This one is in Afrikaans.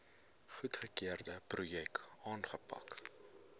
goedgekeurde projekte aanpak